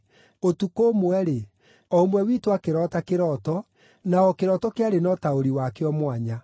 Ũtukũ ũmwe-rĩ, o ũmwe witũ akĩroota kĩroto, na o kĩroto kĩarĩ na ũtaũri wakĩo mwanya.